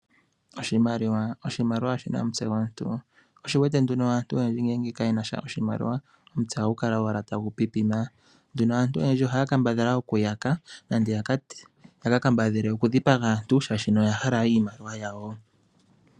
Oshimaliwa oshi na omutse gomuntu, sho osho wu wete nduno aantu oyendji ngele ka ye nasha oshimaliwa , omitse ohadhi kala owala tadhi pipima. Aantu oyendji ohaya kambadhala okuyaka nenge ya ka kambadhale okudhipaga aantu molwaashono oya hala iimaliwa yawo.